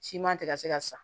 Siman tɛ ka se ka sa